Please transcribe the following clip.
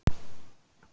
Alex veldur usla